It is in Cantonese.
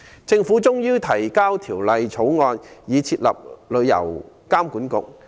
政府終於提交《條例草案》，以設立旅監局。